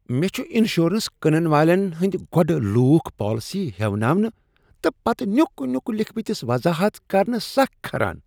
مےٚ چھ انشورنس کٕنن والٮ۪ن ہٕنٛدۍ گۄڈٕ لوٗکھ پالیسیہٕ ہیٛوناوٕنہٕ تہٕ پتہٕ نِیُک نِیُک لیكھمتِس وضاحت کرنہٕ سَکھ کھران۔